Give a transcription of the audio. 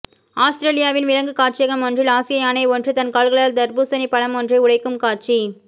ஆசுத்திரேலியாவின் விலங்குக் காட்சியகம் ஒன்றில் ஆசிய யானை ஒன்று தன் கால்களால் தர்பூசணிப்பழமொன்றை உடைக்கும் காட்சி